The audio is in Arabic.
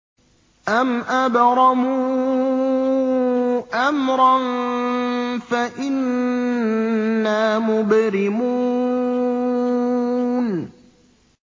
أَمْ أَبْرَمُوا أَمْرًا فَإِنَّا مُبْرِمُونَ